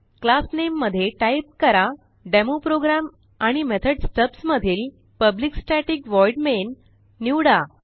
class नामे मध्ये type करा डेमोप्रोग्राम आणि मेथॉड स्टब्स मधील पब्लिक स्टॅटिक व्हॉइड मेन निवडा